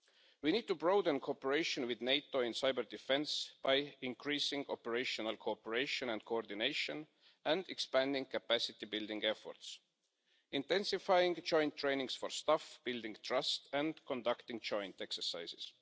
We need to broaden cooperation with NATO in cyber-defence by increasing operational cooperation and coordination and expanding capacity building efforts, intensifying joint training for staff, building trust and conducting joint exercises.